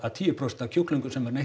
tíu prósent af kjúklingum sem er neytt